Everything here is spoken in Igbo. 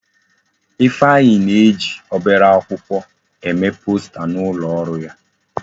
Ifeanyi na-eji obere akwụkwọ eme posta n'ulo oru ya.